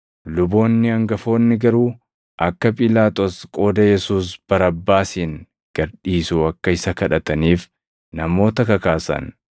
Luboonni hangafoonni garuu akka Phiilaaxoos qooda Yesuus Barabbaasin gad dhiisu akka isa kadhataniif namoota kakaasan.